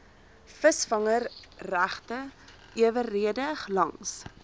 visvangregte eweredig langs